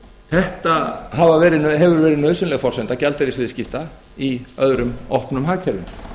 þetta hefur verið nauðsynleg forsenda gjaldeyrisviðskipta í öðrum opnum hagkerfum